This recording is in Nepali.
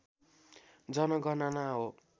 जनगणना हो